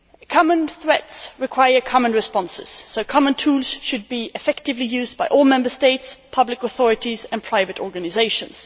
Common threats require common responses, so common tools should be effectively used by all Member States, public authorities and private organisations.